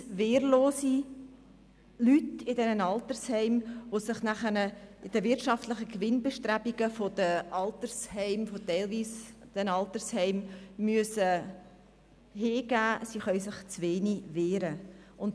In diesen Institutionen leben meist wehrlose Leute, die dem Gewinnstreben der Altersheime ausgeliefert sind und die sich zu wenig wehren können.